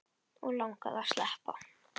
Og langaði að sleppa.